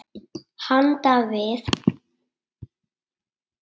Handan við